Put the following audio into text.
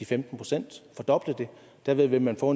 femten procent fordoble det derved vil man få